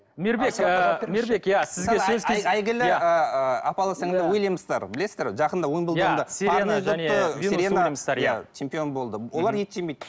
мейірбек ы мейірбек иә сізге сөз кезегі әйгілі ыыы апалы сіңлілі уильямстер білесіздер ғой жақында чемпион болды олар ет жемейді